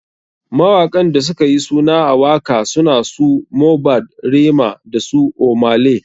Mawaƙan da sukayi suna a waka suna su, Mohbad, Rema dasu ohmay lay.